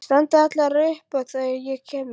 Þær standa allar upp þegar ég kem inn.